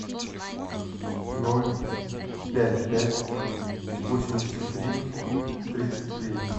ноль пять пять восемьдесят три тридцать три